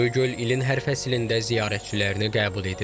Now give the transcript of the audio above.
Göygöl ilin hər fəslində ziyarətçilərini qəbul edir.